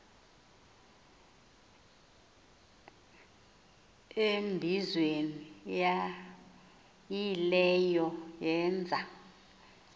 embizweni yaayileyo yeenza